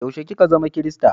Yaushe ki ka zama kirista?